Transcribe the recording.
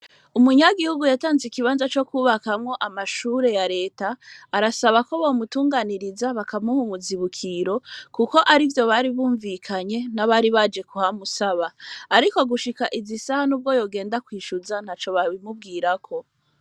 Umunyagihugu yatanze ikibanza co kwubakamwo amashure ya leta arasaba ko bomutunganiriza bakamuhumuzibukiro, kuko ari vyo bari bumvikanye n'abari baje kuhamusaba, ariko gushika izi isaha n'ubwo yogenda kwishuza nta co babimubwirako.